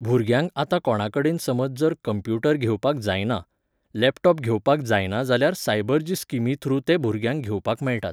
भुरग्यांक आतां कोणा कडेन समज जर कंम्प्युटर घेवपाक जायना, लॅपटॉप घेवपाक जायना जाल्यार सायबर्ज स्किमी थ्रू ते भुरग्यांक घेवपाक मेळटात.